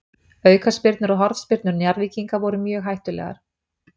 Aukaspyrnur og hornspyrnur Njarðvíkinga voru mjög hættulegar.